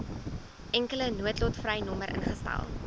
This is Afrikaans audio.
enkele noodtolvrynommer ingestel